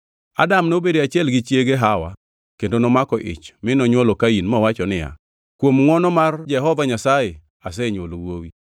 Adam nobedo e achiel gi chiege Hawa kendo nomako ich mi nonywolo Kain mowacho niya, “Kuom ngʼwono mar Jehova Nyasaye asenywolo wuowi.”